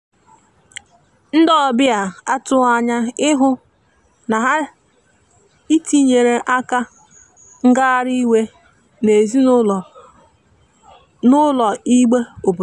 ndi ọbia atughi anya ịhụ na ha itiyere akara ngahari iwe n'ezi ụlọ igbe obodo.